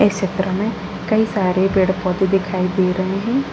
इस चित्र में कई सारे पेड़ पौधे दिखाई दे रहे हैं।